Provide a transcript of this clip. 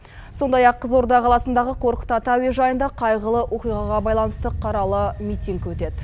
сондай ақ қызылорда қаласындағы қорқыт ата әуежайында қайғылы оқиғаға байланысты қаралы митинг өтеді